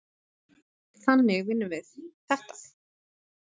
Þannig vinnum við þetta.